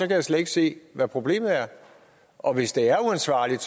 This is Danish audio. jeg slet ikke se hvad problemet er og hvis det er uansvarligt